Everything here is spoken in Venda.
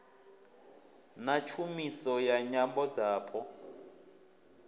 na tshumiso ya nyambo dzapo